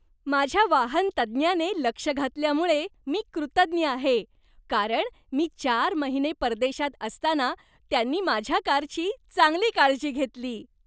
माझ्या वाहन तज्ज्ञाने लक्ष घातल्यामुळे मी कृतज्ञ आहे, कारण मी चार महिने परदेशात असताना त्यांनी माझ्या कारची चांगली काळजी घेतली.